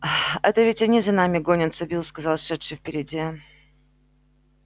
это ведь они за нами гонятся билл сказал шедший впереди